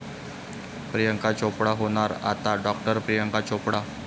प्रियांका चोप्रा होणार आता डॉ. प्रियांका चोप्रा!